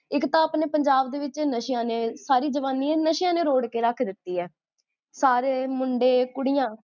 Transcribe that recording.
ਇਕ ਤਾਂ ਆਪਣੇ ਪੰਜਾਬ ਦੇ ਵਿੱਚ ਨਸ਼ਿਆਂ ਨੇ, ਸਾਰੀ ਜਵਾਨੀ ਨਸ਼ਿਆਂ ਨੇ ਰੋੜ ਕੇ ਰਖ ਦਿੱਤੀ ਆ ਸਾਰੇ ਮੁੰਡੇ, ਕੁੜੀਆਂ